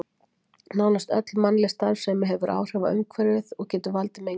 Nánast öll mannleg starfsemi hefur áhrif á umhverfið og getur valdið mengun.